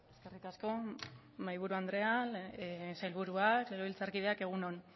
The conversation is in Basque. eskerrik asko mahaiburu andrea sailburuak legebiltzarkideak egun on